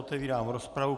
Otevírám rozpravu.